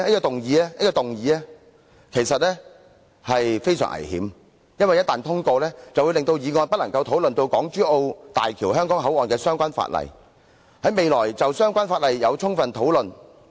黃議員的議案其實非常危險，一旦通過就會令議員未能夠充分討論港珠澳大橋香港口岸的相關附屬法例。